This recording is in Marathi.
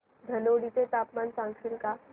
धनोडी चे तापमान सांगशील का